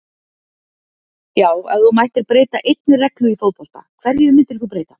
já Ef þú mættir breyta einni reglu í fótbolta, hverju myndir þú breyta?